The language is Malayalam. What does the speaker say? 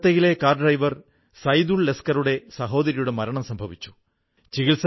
അതേപോലെ കൊറോണയുടെ സമയത്ത് ഖാദിയുടെ മാസ്കും വളരെയധികം പ്രചാരം നേടിക്കൊണ്ടിരിക്കുന്നു